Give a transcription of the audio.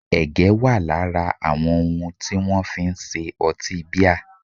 Ẹ̀gẹ́ wà lára àwọn ohun tí wọ́n fi ń se ọtí bíà